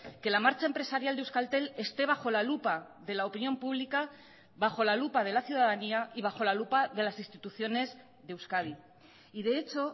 que la marcha empresarial de euskaltel esté bajo la lupa de la opinión pública bajo la lupa de la ciudadanía y bajo la lupa de las instituciones de euskadi y de hecho